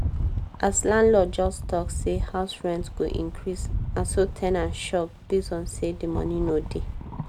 as landlord just talk say house rent go increase na so ten ant shock based on say di moni no dey